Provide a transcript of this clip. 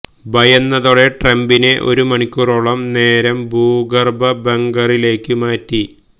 ഭയന്നതോടെ ട്രംപിനെ ഒരു മണിക്കൂറോളം നേരം ഭൂഗർഭ ബങ്കറിലേക്ക് മാറ്റി